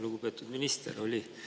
Lugupeetud minister!